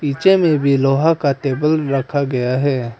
नीचे में भी लोहा का टेबल रखा गया है।